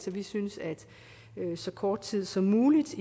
vi synes at så kort tid som muligt